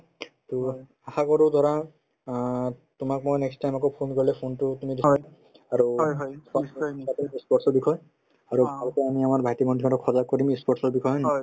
to আশাকৰো ধৰা অ তোমাক মই next time আকৌ phone কৰিলে phone তো তুমি receive আৰু ই sport ৰ বিষয় আৰু আগতে আমি আমাৰ ভাইটি-ভণ্টিহঁতক সজাগ কৰিম ই sport ৰ বিষয়ে হয় নে নহয়